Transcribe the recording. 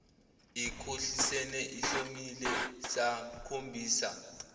ikhohlisene ihlomile samkhombisa